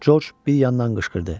Corc bir yandan qışqırdı: